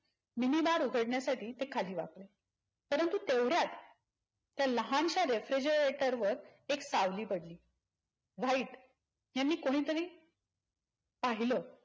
Minibar उघडण्यासाठी ते खाली वाकले परंतु तेवढ्यात त्या लहानश्या refrigarator वर एक सावली पडली. व्हाईट यांनी कोणीतरी पहिला